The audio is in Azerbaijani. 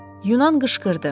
Yunan qışqırdı.